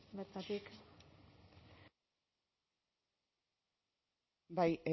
bertatik bai